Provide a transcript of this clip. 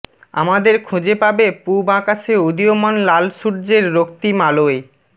আমাদের খুঁজে পাবে পুব আকাশে উদীয়মান লাল সূর্যের রক্তিম আলোয়